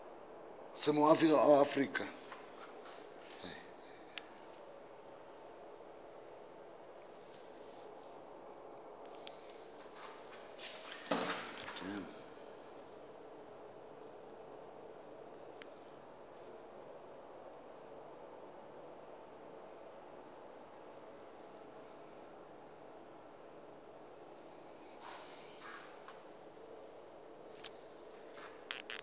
o se moagi wa aforika